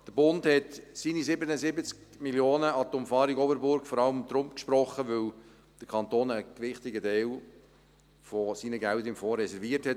Der Bund hat seine 77 Mio. Franken an die Umfahrung Oberburg vor allem deshalb gesprochen, weil der Kanton einen gewichtigen Teil seiner Gelder im Fonds reserviert hat.